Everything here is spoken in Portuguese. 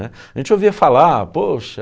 né. A gente ouvia falar, poxa...